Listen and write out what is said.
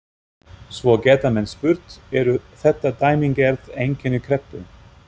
Svo geta menn spurt, eru þetta dæmigerð einkenni kreppu?